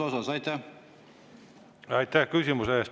Aitäh küsimuse eest!